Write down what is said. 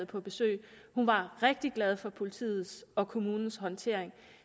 på besøg hun var rigtig glad for politiets og kommunens håndtering